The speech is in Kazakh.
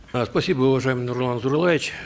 э спасибо уважаемый нурлан зайроллаевич